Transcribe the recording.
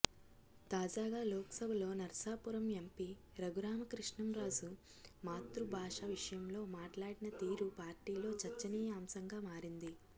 తాజాగా లోక్సభలో నర్సాపురం ఎంపీ రఘురామకృష్ణంరాజు మాతృభాష విషయంలో మాట్లాడిన తీరు పార్టీలో చర్చనీయాంశంగా మారింది